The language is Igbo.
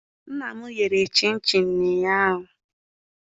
Nna m yere chịnchịn ụnyaahụ.